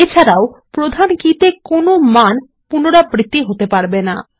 এছাড়াও প্রধান কী তে কোনো মান পুনরাবৃত্তি হতে পারবে না